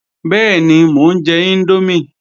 Bẹ́ẹ̀ni, mò ń jẹ índómì